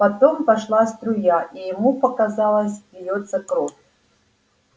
потом пошла струя и ему показалось льётся кровь